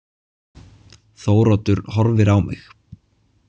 Þóroddur horfir á mig.